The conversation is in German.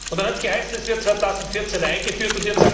Dann hat es geheißen Es wird 2014 eingeführt.